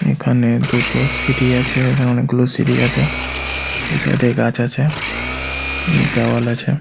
এখানে দুটো সিঁড়ি আছে এখানে অনেকগুলো সিরি আছে ওই সাইড -এ গাছ আছে দেওয়াল আছে ।